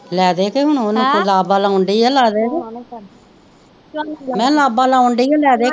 ਲੈ ਦੇ ਕੇ ਹੁਣ ਓਹਨੂੰ ਕਹਿ ਲਾਬਾ ਲਾਉਣ ਦੀ ਆ ਲੈ ਦੇ ਕੇ ਮੈ ਕਿਹਾ ਲਾਬਾ ਲਾਉਣ ਦੀ ਓ ਲੈ ਦੇ ਕੇ